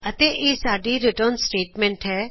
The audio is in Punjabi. ਅਤੇ ਇਹ ਸਾਡੀ ਰਿਟਰਨ ਸਟੇਟਮੈਂਟ ਹੈ